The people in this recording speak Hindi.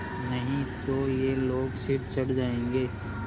नहीं तो ये लोग सिर चढ़ जाऐंगे